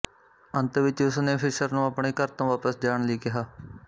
ਅੰਤ ਵਿੱਚ ਉਸਨੇ ਫ਼ਿਸ਼ਰ ਨੂੰ ਆਪਣੇ ਘਰ ਤੋਂ ਵਾਪਿਸ ਜਾਣ ਲਈ ਕਿਹਾ